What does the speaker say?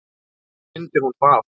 Þá mundi hún það.